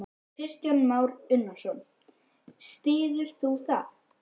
Kristján Már Unnarsson: Styður þú það?